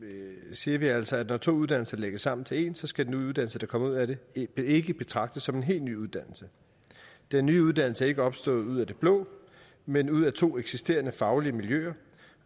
siger vi altså at når to uddannelser lægges sammen til én skal den nye uddannelse der kommer ud af det ikke det ikke betragtes som en helt ny uddannelse den nye uddannelse er ikke opstået ud af det blå men ud af to eksisterende faglige miljøer